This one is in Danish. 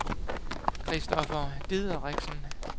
Kristoffer Dideriksen